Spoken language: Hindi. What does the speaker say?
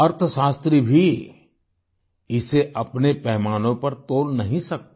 अर्थशास्त्री भी इसे अपने पैमानों पर तौल नहीं सकते